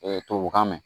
tubabukan mɛn